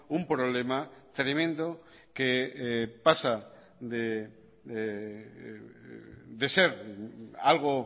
un problema tremendo que pasa de ser algo